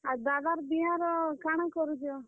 ଆଉ ଦାଦାର୍ ବିହା ର କାଣା କରୁଛ?